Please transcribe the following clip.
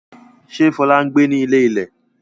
Ṣé Fọlá ń gbé ní ilé-ilẹ̀?